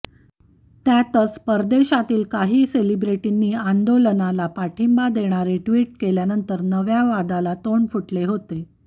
त्यातच परदेशातील काही सेलिब्रिटींनी आंदोलनाला पाठिंबा देणारे ट्विट केल्यानंतर नव्या वादाला तोंड फुटले होते